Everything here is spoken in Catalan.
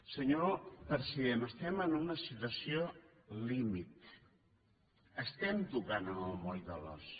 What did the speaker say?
senyor president estem en una situació límit estem tocant el moll de l’os